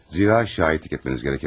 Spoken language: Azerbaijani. Zira şahitlik etməniz gərəke bilər.